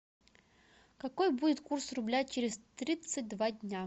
какой будет курс рубля через тридцать два дня